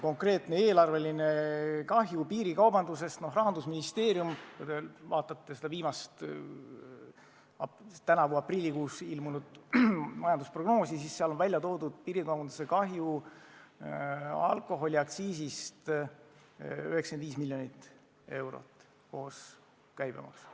Konkreetne eelarveline kahju – noh, kui te vaatate Rahandusministeeriumi viimast, tänavu aprillikuus ilmunud majandusprognoosi, siis te näete, et seal on piirikaubanduse kahju saamata jäänud alkoholiaktsiisi näol 95 miljonit eurot koos käibemaksuga.